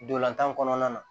Dolantan kɔnɔna na